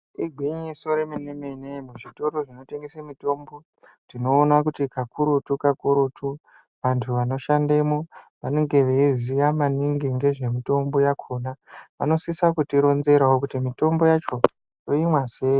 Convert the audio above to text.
Igwinyiso remenemene muzvitoro zvinotengese mitombo tinoona kuti kakurutu kakurutu antu anoshandemwo anenge veiziya maningi ngezvemitombo yakona vanosisa kutironzerawo kuti mitombo yacho toimwa sei?